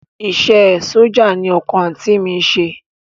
Iṣẹ́ ẹ sójà ni ọkọ àǹtí mi ń ṣe